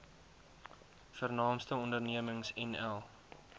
vernaamste ondernemings nl